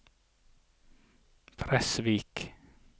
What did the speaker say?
Fresvik